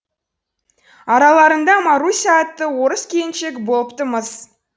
араларында маруся атты орыс келіншегі болыпты мыс